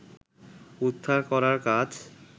উদ্ধার করার কাজ